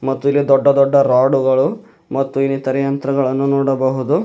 ಮತ್ತು ಇಲ್ಲಿ ದೊಡ್ಡ ದೊಡ್ಡ ರಾಡು ಗಳು ಮತ್ತು ಇತರ ಯಂತ್ರಗಳನ್ನು ನೋಡಬಹುದು.